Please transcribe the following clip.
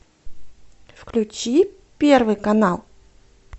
включи первый канал